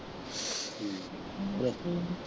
ਠੀਕ ਆ .